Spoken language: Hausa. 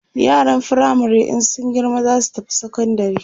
yaran firamare in sun girma zasu tafi sekondari